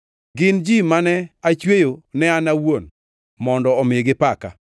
gin ji mane achweyo ne an awuon, mondo omi gipaka.